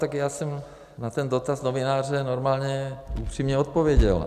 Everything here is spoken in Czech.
Tak já jsem na ten dotaz novináře normálně upřímně odpověděl.